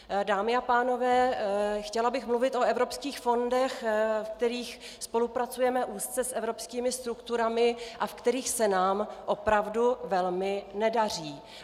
Dámy a pánové, chtěla bych mluvit o evropských fondech, ve kterých spolupracujeme úzce s evropskými strukturami a ve kterých se nám opravdu velmi nedaří.